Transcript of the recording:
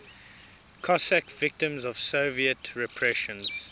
cossack victims of soviet repressions